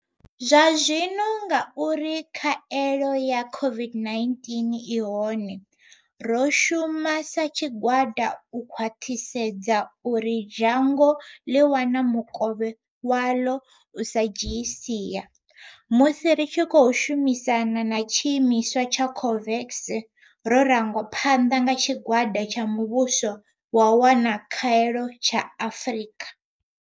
Zwazwino ngauri khaelo ya COVID-19 i hone, ro shuma sa tshigwada u khwaṱhisedza uri dzhango ḽi wana mukovhe waḽo u sa dzhiyi sia, musi ri tshi khou shumisana na tshiimiswa tsha COVAX ro rangwa phanḓa nga tshigwada tsha muvhuso wa u wana Khaelo tsha Afrika.